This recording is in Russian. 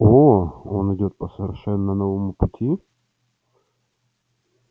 оо он идёт по совершенно новому пути